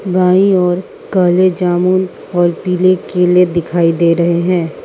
बाईं ओर काले जामुन और पीले केले दिखाई दे रहे हैं।